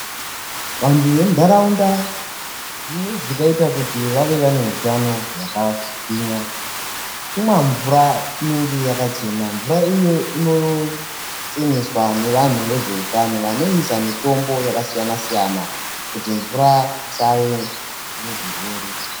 Vanhtu vemunhtaraunda zvimweni zvingaita kuti vange vane hutano hwakagwinya kumwa mvura inenge yakachena. Mvura iyoyo inocheneswa nevanhtu vezveutano vanoisa mitombo yakasiyana siyana kuti mvura isave nezvirwere.